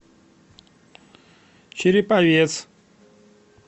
череповец